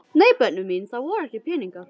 Nei börnin mín, það voru ekki peningar.